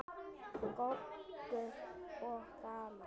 Goggur og gaman.